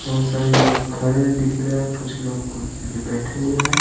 बहुत सारे लोग खड़े दिख रहे हैं कुछ लोग कुर्सी पर बैठे हुए हैं।